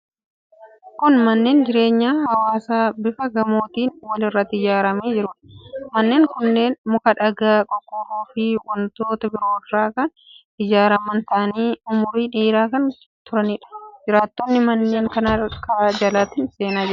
Kun manneen jireenya hawaasaa bifa gamootiin wal irratti ijaaramee jiruudha. Manneen kunneen muka, dhagaa, qorqorroofi wantoota biroo irraa kan ijaaraman ta'anii umurii dheeraa kan turaniidha. Jiraattonni manneen kanaa karaa jalaatiin itti seenaa jiru.